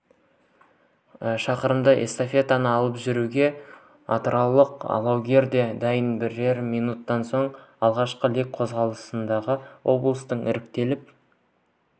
шақырымдық эстафетаны алып жүруге атыраулық алаугер де дайын бірер минуттан соң алғашқы лек қозғалады облыстан іріктеліп